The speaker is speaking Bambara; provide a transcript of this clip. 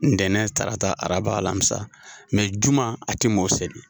Ntɛnɛn, tarata, araba, lamisa juma a te maaw seli.